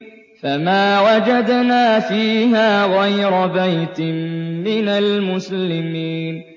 فَمَا وَجَدْنَا فِيهَا غَيْرَ بَيْتٍ مِّنَ الْمُسْلِمِينَ